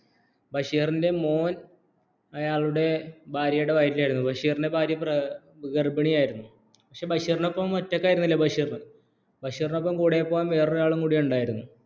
ബഷീറിൻറെ മോൻ അയാളുടെ ഭാര്യയുടെ വയറ്റിലായിരുന്നു ബഷീറിന്റെ ഭാര്യ ഗർഭിണിയായിരുന്നു പക്ഷേ ബഷീർ ഒറ്റയികയിരുനില ബഷീറിൻറെ ഒപ്പം കൂടെപ്പോകൻ വേരഒരുആളും കൂടി ഉണ്ടായിരുന്നു